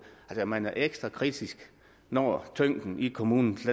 at man er ekstra kritisk når tyngden i kommunernes